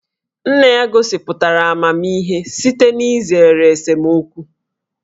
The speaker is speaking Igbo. Nna ya gosipụtara amamihe site n'izere esemokwu